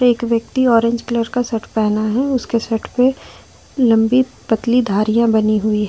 एक व्यक्ति orange colour का शर्ट पहना है उसके शर्ट पे लंबी पतली धारियां बनी हुई है।